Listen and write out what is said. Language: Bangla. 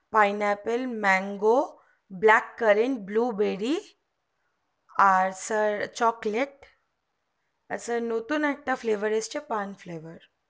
pineapple mango blackcurrant blubbery আর sir chocolate তাছাড়া নতুন একটা fever এসছে cronfevar